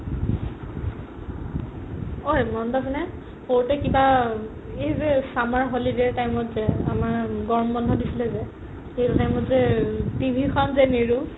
ঐ মনত আছে নে সৰুটে কিবা এই summer holiday ৰ time ত যে আমাৰ গৰম বন্ধো দিছিলে যে সেইটো time যে TV খন যে নেৰো